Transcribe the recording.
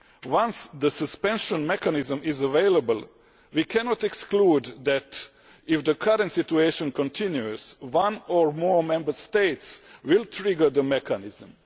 Once the suspension mechanism is available we cannot exclude that, if the current situation continues, one or more Member States will trigger the mechanism.